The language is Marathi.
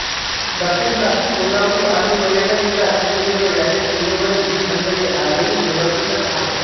दक्षिण काशी कोल्हापूर आणि पर्यटन जिल्हा सिंधुदुर्ग यांच्या सीमेवरील ही मंदिरे आजही दुर्लक्षितच आहेत